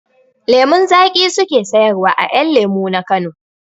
Lemun zaƙi su ke sayarwa a 'yan lemu na Kano.